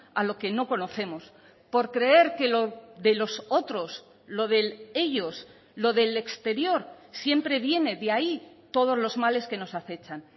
a lo que no conocemos por creer que de los otros lo del ellos lo del exterior siempre viene de ahí todos los males que nos acechan